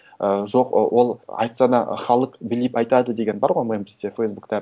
ііі жоқ ол айтса да халық біліп айтады деген бар ғой мем бізде фейсбукта